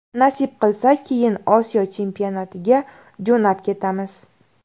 Nasib qilsa, keyin Osiyo chempionatiga jo‘nab ketamiz.